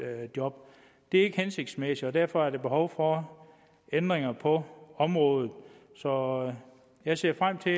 job det er ikke hensigtsmæssigt og derfor er der behov for ændringer på området så jeg ser frem til